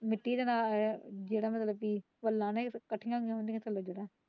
ਨਿੱਕੀ ਦੇ ਨਾਲ ਆਇਆ ਜਿਹੜਾ ਮੇਰਾ ਇਕੱਠੀਆਂ ਫ਼ੋਨ ਤੇ ਲੱਗਿਆ।